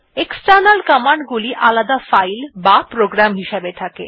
external command গুলি আলাদা file বা প্রোগ্রাম হিসাবে থাকে